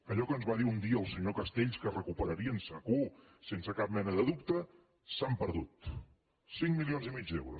allò que ens va dir un dia el senyor castells que recuperarien segur sense cap mena de dubte s’han perdut cinc milions i mig d’euros